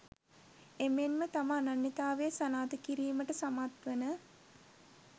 එමෙන්ම තම අනන්‍යතාවය සනාථ කිරීමට සමත්වන